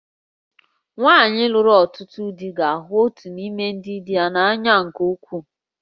Nwanyị lụrụ ọtụtụ di ga-ahụ otu n'ime ndị di ya n'anya nke ukwuu